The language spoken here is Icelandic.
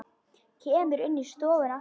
Kemur inn í stofuna aftur.